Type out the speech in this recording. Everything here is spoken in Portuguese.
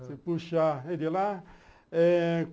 Você puxa ele lá eh...